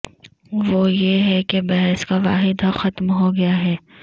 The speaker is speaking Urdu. وہ یہ ہے کہ بحث کا واحد حق ختم ہو گیا ہے